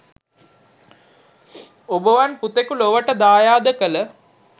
ඔබවන් පුතෙකු ලොවට දායාද කල